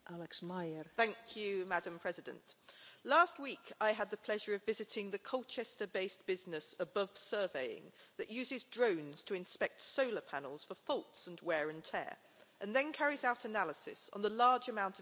Madam President, last week I had the pleasure of visiting the Colchester based business Above Surveying, which uses drones to inspect solar panels for faults and wear and tear, and then carries out analysis on the large amount of information collected.